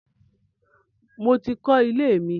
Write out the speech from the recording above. Mo ti ń kọ ilé mi.